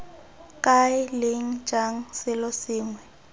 kae leng jang selo sengwe